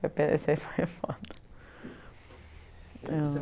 foi foda.